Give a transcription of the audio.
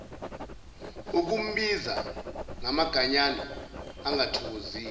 ukumbiza ngamaganyana angathokozisi